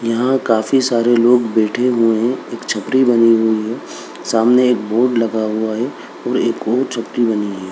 यहाँ काफी सारे लोग बैठे हुए हैं एक छपरी बनी हुई है सामने एक बोर्ड लगा हुआ है और एक और छपरी बनी हुई है।